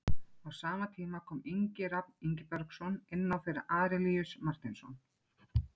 Á sama tíma kom Ingi Rafn Ingibergsson inná fyrir Arilíus Marteinsson.